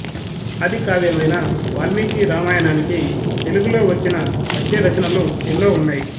ఆదికావ్యమైన వాల్మీకి రామాయణానికి తెలుగులో వచ్చిన పద్య రచనలు ఎన్నో ఉన్నాయి